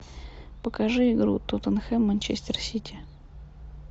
покажи игру тоттенхэм манчестер сити